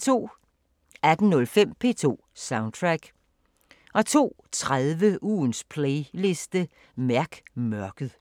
18:05: P2 Soundtrack 02:30: Ugens playliste – mærk mørket